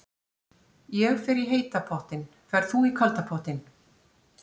Ég fer í heita pottinn. Ferð þú í kalda pottinn?